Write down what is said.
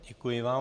Děkuji vám.